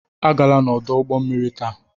Agala n'ọdụ ụgbọ mmiri taa!